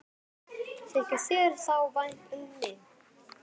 Þykir þér þá vænt um mig?